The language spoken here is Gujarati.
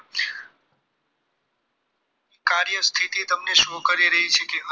કાર્ય સ્થિતિ તમને show કરી રહી છે કે